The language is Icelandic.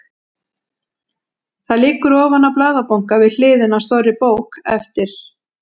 Það liggur ofan á blaðabunka við hliðina á stórri bók eftir